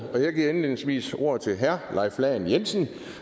og jeg giver indledningsvis ordet til herre leif lahn jensen